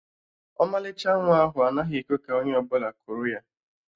Ọmalịcha nwa ahụ anaghị ekwe ka onye ọbụla kuru ya